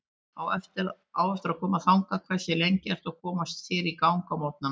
Á eftir að koma þangað Hversu lengi ertu að koma þér í gang á morgnanna?